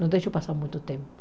Não deixo passar muito tempo.